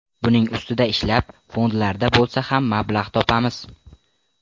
Buning ustida ishlab, fondlardan bo‘lsa ham mablag‘ topamiz.